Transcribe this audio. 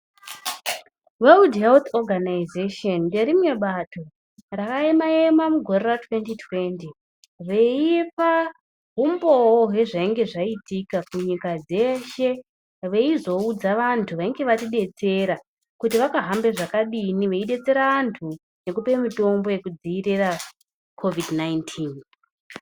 World Health Organisation nderimwe bato raema ema mugore ra2020 veipa umboo hwezvainge zvaitika kunyika dzeshe veizoudza antu vainga vatidetsera kuti vakahambe zvakadini veibetsera anhu kupe mitombo yekudziirire Covid 19.